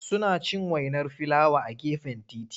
Suna cin wainar filawa a gefen titi.